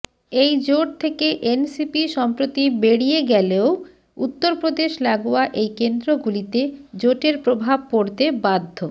এই জোট থেকে এনসিপি সম্প্রতি বেড়িয়ে গেলেও উত্তরপ্রদেশ লাগোয়া এই কেন্দ্রগুলিতে জোটের প্রভাব পড়তে বাধ্য